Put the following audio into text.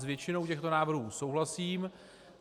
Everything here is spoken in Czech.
S většinou těchto návrhů souhlasím.